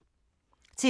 TV 2